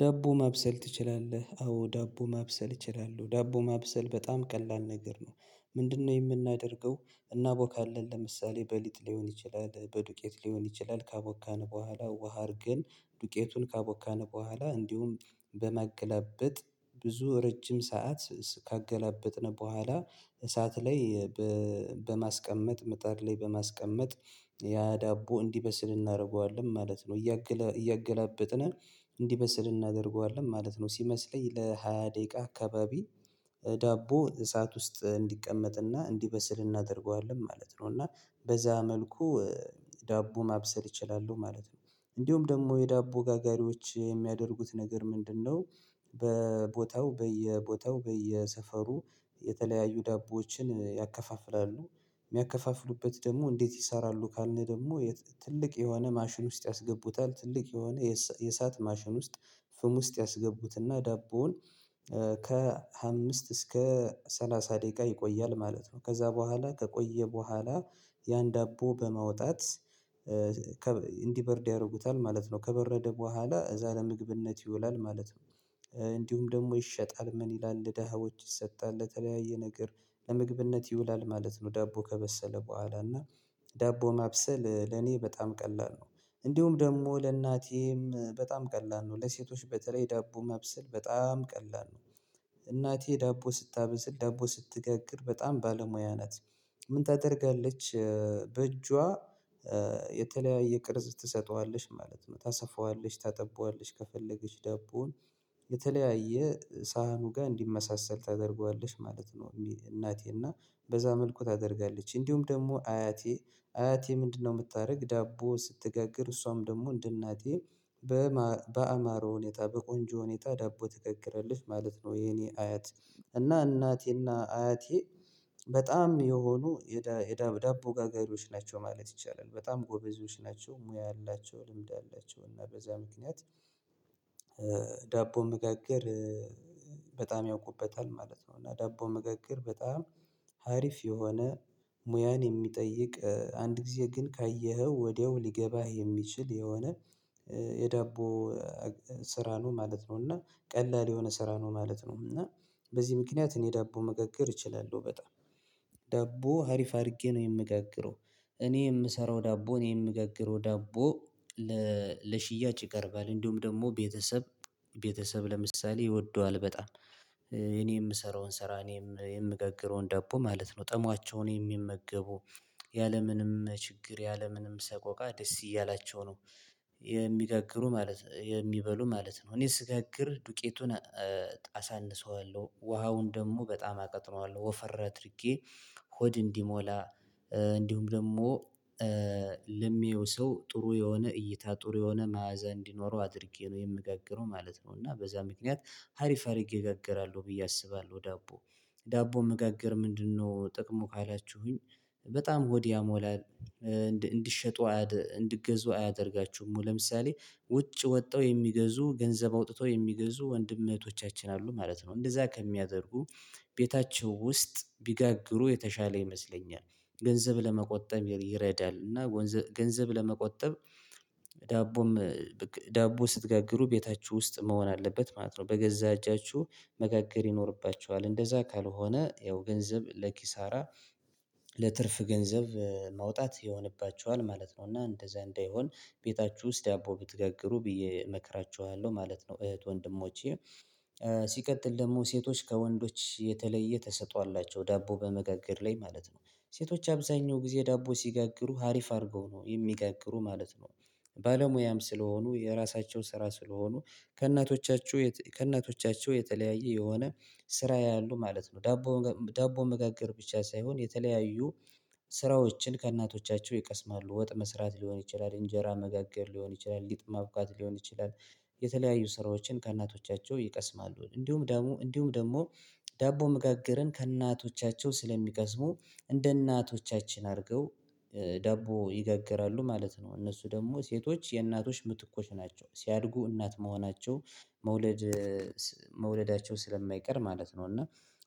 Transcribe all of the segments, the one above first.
ዳቦ ማብሰል ትችላለህ? አዎ ዳቦ ማብሰል እችላለሁ ዳቦ ማብሰል በጣም ቀላል ነገር ነው። ምንድነው የምናደርገው? እናቦካለን ለምሳሌ በሊጥ ሊሆን ይችላል። በዱቄት ሊሆን ይችላል። ካቦካን በኋላ ውሃ አድርገን ዱቄቱን ካቦካን በኋላ እንዲሁም በማገለብጥ ብዙ ረጅም ሰዓት ካገላበጥነው በኋላ እሳት ላይ በማስቀመጥ ምጣድ ላይ በማስቀመጥ ያ ዳቦ እንዲበስል እናደርገዋለን ማለት ነው። እያገላበጥን እንዲበስል እናደርገዋለን ማለት ነው። ሲመስለኝ ለሃያ ደቂቃ አካባቢ ዳቦ እሳት ውስጥ እንዲቀመጥና እንዲበስል እናደርገዋለን ማለት ነው። እና በዛ መልኩ ዳቦ ማብሰል ይችላሉ ማለት ነው። እንዲሁም ደግሞ የዳቦ ጋጋሪዎች የሚያደርጉት ነገር ምንድነው? በቦታው በየቦታው በየሰፈሩ የተለያዩ ዳቦዎችን ያከፋፍላሉ። የሚያከፋፍሉበት ደግሞ እንዴት ይሰራሉ? ካልነ ደግሞ ትልቅ የሆነ ማሽን ውስጥ ያስገቡታል ትልቅ የሆነ የእሳት ማሽን ውስጥ ፍም ውስጥ ያስገቡትና ዳቦውን ከአምስት እስከ ሰላሳ ደቂቃ ይቆያል ማለት ነው። ከዛ በኋላ ከቆየ በኋላ ያን ዳቦ በማውጣት እንዲበርድ ያደርጉታል ማለት ነው። ከበረደ በኋላ እዛ ለምግብነት ይውላል ማለት ነው። እንዲሁም ደግሞ ይሸጣል ምን ይላል ደሃዎች ይሰጣል ለተለያየ ነገር ለምግብነት ይውላል ማለት ነው። ዳቦ ከበሰለ በኋላ እና ዳቦ መብሰል ለኔ በጣም ቀላል ነው። እንዲሁም ደግሞ ለእናቴም በጣም ቀላል ነው። ለሴቶች በተለይ ዳቦ መብስል በጣም ቀላል ነው። እናቴ ዳቦ ስታበስል ዳቦ ስትጋግር በጣም ባለሙያ ናት። ምን ታደርጋለች? በእጇ የተለያየ ቅርጽ ትሰጠዋለች ማለት ነው። ታሰፋዋለሽ ታጠባዋለሽ ከፈለገች ዳቦውን የተለያየ ሳህኑ ጋር እንዲመሳሰል ታደርገዋለሽ ማለት ነው። እናቴ እና በዛ መልኩ ታደርጋለች። እንዲሁም ደግሞ አያቴ አያቴ ምንድነው? የምታደርግ ዳቦ ስትገግር እሷም ደግሞ እንደ እናቴ በአማረ ሁኔታ በቆንጆ ሁኔታ ዳቦ ትጋግራለች ማለት ነው። የኔ አያት እና እናቴና አያቴ በጣም የሆኑ የዳቦ ጋጋሪዎች ናቸው። ማለት ይቻላል በጣም ጎበዞች ናቸው። ሙያ አላቸው ልምድ አላቸው እና በዛ ምክንያት ዳቦ መጋገር በጣም ያውቁበታል ማለት ነው። እና ዳቦ መጋገር በጣም ሀሪፍ የሆነ ሙያን የሚጠይቅ አንድ ጊዜ ግን ካየኸው ወዲያው ሊገባህ የሚችል የሆነ የዳቦ ስራኑ ነው ማለት ነው። እና ቀላል የሆነ ስራ ነው ማለት ነው። እና በዚህ ምክንያት እኔ ዳቦ መጋገር እችላለሁ በጣም ሀሪፍ አድርጌ ነው የምገግረው። እኔ የምሰራው ዳቦ እኔ የምገግረው ዳቦ ለሽያጭ ይቀርባል። እንዲሁም ደግሞ ቤተሰብ ቤተሰብ ለምሳሌ ይወደዋል። በጣም እኔ የምሰራውን ስራ እኔም የምገግረውን ዳቦ ማለት ነው። ጥሟቸውን የሚመገቡ ያለምንም ችግር ያለምንም ሰቆቃ ደስ እያላቸው ነው። የሚጋግሩ ማለት የሚበሉ ማለት ነው። እኔ ስጋግር ዱቄቱን አሳንሰዋለሁ ውሃውን ደግሞ በጣም አቅጥነዋለሁ ወፈራ ትርጌ ሆድ እንዲሞላ እንዲሁም ደግሞ ለሚያየው ሰው ጥሩ የሆነ እይታ ጥሩ የሆነ መዓዛ እንዲኖረው አድርጌ ነው የምጋግረው ማለት ነው። እና በዛ ምክንያት ሀሪፍ አድርጌ እጋግራለሁ ብዬ አስባለሁ። ዳቦ ዳቦ መጋገር ምንድነው ጥቅሙ ካላችሁኝ? በጣም ሆድ ያሞላል። እንድሸጡ እንድትገዙ አያደርጋችሁም ለምሳሌ ውጭ ወጥተው የሚገዙ ገንዘብ አውጥተው የሚገዙ ወንድም እህቶቻችን አሉ ማለት ነው። እንደዛ ከሚያደርጉ ቤታቸው ውስጥ ቢጋግሩ የተሻለ ይመስለኛል። ገንዘብ ለመቆጠብ ይረዳል። እና ገንዘብ ለመቆጠብ ዳቦ ስትጋግሩ ቤታችሁ ውስጥ መሆን አለበት ማለት ነው። በገዛ እጃችሁ መጋገር ይኖርባቸዋል እንደዛ ካልሆነ ይኸው ገንዘብ ለኪሳራ ለትርፍ ገንዘብ ማውጣት ይሆንባችኋል ማለት ነው። እና እንደዛ እንደሆን ቤታችሁ ውስጥ ያቦ ብትገግሩ ብዬ እመክራችኋለሁ ማለት ነው። እህት ወንድሞቼ ሲቀጥል ደግሞ ሴቶች ከወንዶች የተለየ ተሰጥኦ አላቸው ዳቦ በመጋገር ላይ ማለት ነው። ሴቶች አብዛኛው ጊዜ ዳቦ ሲጋግሩ ሀሪፍ አድርገው ነው የሚጋግሩ ማለት ነው። ባለሙያም ስለሆኑ የራሳቸው ስራ ስለሆኑ ከእናቶቻችሁ ከእናቶቻችሁ የተለያየ የሆነ ስራ ያሉ ማለት ነው። ዳቦ ዳቦ መጋግር ብቻ ሳይሆን የተለያዩ ስራዎችን ከእናቶቻቸው ይቀስማሉ ወጥ መስራት ሊሆን ይችላል እንጀራ መጋገር ሊሆን ይችላል ሊጥ ማብቃት ሊሆን ይችላል። የተለያዩ ስራዎችን ከእናቶቻቸው ይቀስማሉ። እንዲሁም ደግሞ እንዲሁም ደግሞ ዳቦ መጋግርን ከእናቶቻቸው ስለሚቀስሙ እንደ እናቶቻችን አድርገው ዳቦ ይገግራሉ ማለት ነው። እነሱ ደግሞ ሴቶች የእናቶች ምትኮች ናቸው። ሲያድጉ እናት መሆናቸው መውለድ መውለዳቸው ስለማይቀር ማለት ነው። እና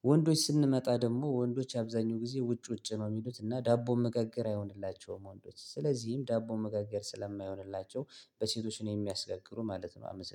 ወንዶች ስንመጣ ደግሞ ወንዶች የአብዛኛው ጊዜ ውጭ ውጭ ነው የሚሉት እና ዳቦ መገገር አይሆንላቸውም። ወንዶች ስለዚህም ዳቦ መጋገር ስለማይሆንላቸው በሴቶች ነው የሚያስጋግሩ ማለት ነው። አመሰግናለሁ